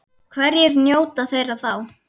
Hverjir njóta þeirra þá?